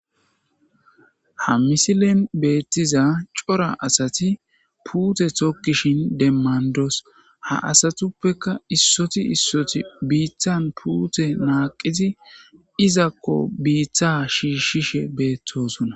Ha missilen betiza c'ora asati pute tokishen demandos ha asatupeka isoti isoti bithan pute naqizi izako bitha shishishe betosona.